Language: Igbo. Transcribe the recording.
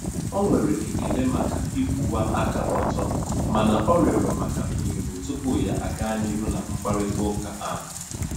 O nwere ekele maka ịkwụwa aka ọtọ mana ọ rịọrọ maka ohere tupu ya aga n'ihu na mkparịta ụka ahụ.